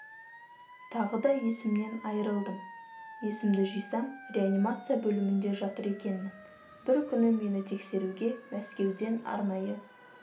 тағы да есімнен айырылдым есімді жисам реанимация бөлімінде жатыр екенмін бір күні мені тексеруге мәскеуден арнайы